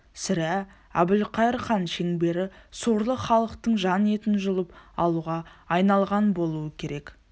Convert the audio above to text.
сірә әбілқайыр хан шеңбері сорлы халықтың жан етін жұлып алуға айналған болуы керек